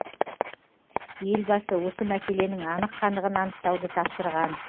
елбасы осы мәселенің анық қанығын анықтауды тапсырған